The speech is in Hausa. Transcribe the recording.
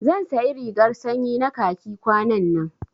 Zan sayi rigar sanyi na khaki kwanannan